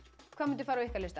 hvað myndi fara á ykkar lista